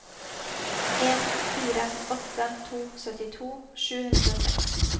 en fire åtte to syttito sju hundre og seks